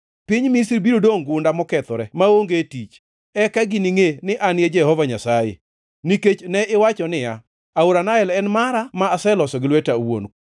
Piny Misri biro dongʼ gunda mokethore maonge tich. Eka giningʼe ni An e Jehova Nyasaye. “ ‘Nikech ne iwacho niya, “Aora Nael en mara; ma aloso gi lweta awuon,”